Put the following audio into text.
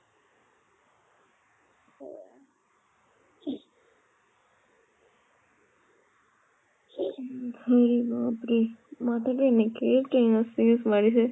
বাপৰে মাথাতো এনেকে মাৰিছে